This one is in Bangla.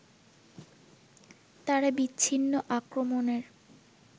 তারা বিচ্ছিন্ন আক্রমণের